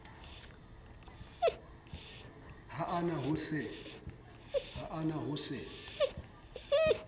ha a na ho se